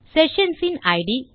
session in it